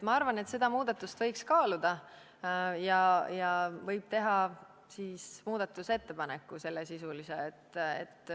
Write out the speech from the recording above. Ma arvan, et seda muudatust võib kaaluda ja võib teha muudatusettepaneku.